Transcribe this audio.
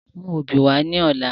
Mú obì wá ní ọ̀la